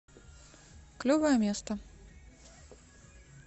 клевое место